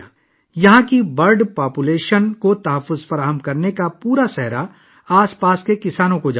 یہاں پرندوں کی آبادی کو محفوظ رکھنے کا سارا سہرا آس پاس کے کسانوں کے سر جاتا ہے